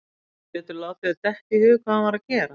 Geturðu látið þér detta í hug hvað hann var að gera?